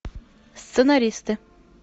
сценаристы